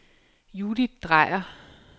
Judith Drejer